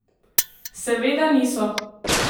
Seveda niso!